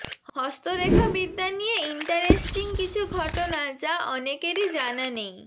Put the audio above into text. হস্তরেখাবিদ্যা নিয়ে ইন্টারেস্টিং কিছু ঘটনা যা অনেকেরই জানা নেই